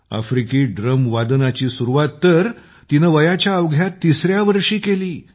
आफ्रिकी ड्रमवादनाची सुरुवात तर तिने वयाच्या अवघ्या तिसऱ्या वर्षी केली